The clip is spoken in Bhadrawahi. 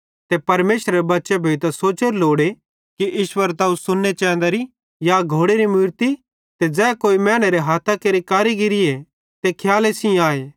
ते परमेशरेरे बच्चे भोइतां सोचेरू लोड़े कि ईश्वरत्व सोन्ने चैंदरी या घोड़ेरी मूरतरीए ते ज़ै केन्ची मैनेरे हाथां केरि कारीगिरीए ते खियाले सेइं आए